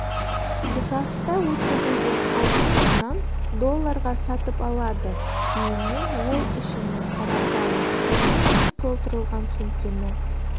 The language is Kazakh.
техаста өткізілген аукционнан долларға сатып алады кейіннен ол ішіне қарапайым құм мен тас толтырылған сөмкені